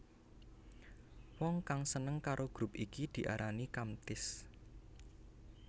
Wong kang seneng karo grup iki diaran Kamtis